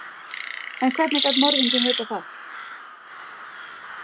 En hvernig gat morðinginn vitað það?